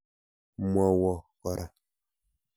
Mwowo kora.